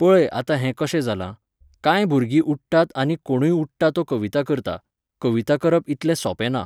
पळय आतां हें कशें जालां. कांय भुरगीं उठ्ठात आनी कोणूय उठ्ठा तो कविता करता. कविता करप इतलें सोंपें ना.